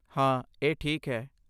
ਹਾਂ, ਇਹ ਠੀਕ ਹੈ!